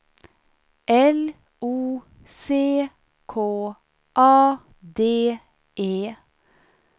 L O C K A D E